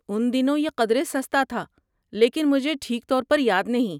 ان دنوں یہ قدرے سستا تھا، لیکن مجھے ٹھیک طور پر یاد نہیں۔